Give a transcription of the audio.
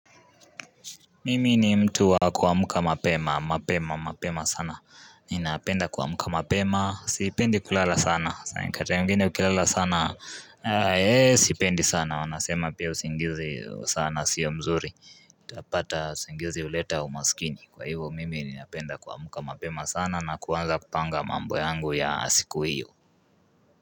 Mimi ni mtu wa kuamuka mapema, mapema, mapema sana, ninapenda kuamka mapema, sipendi kulala sana, kata mwigine ukilala sana, ee sipendi sana, wanasema pia usingizi sana sio mzuri, itapata usingizi uleta umasikini, kwa hivo mimi ninapenda kuamuka mapema sana na kuwanza kupanga mambo yangu ya asiku hiyo.